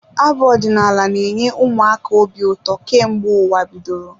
Abụ ọdinaala na-enye ụmụ aka obi ụtọ kemgbe ụwa bidoro.